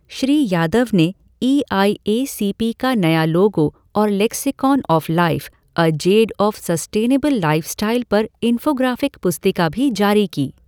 श्री यादव ने E I A C P का नया लोगो और lexicon of life: A Z of sustainable lifestyle पर इंफ़ोग्राफ़िक पुस्तिका भी जारी की।